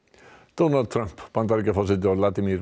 Donald Trump Bandaríkjaforseti og